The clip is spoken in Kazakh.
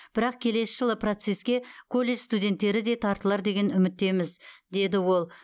бірақ келесі жылы процесске колледж студенттері де тартылар деген үміттеміз деді ол